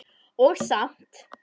Og samt.